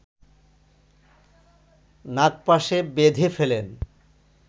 নাগপাশে বেধে ফেলেন